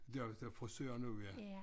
Jo der er frisør nu ja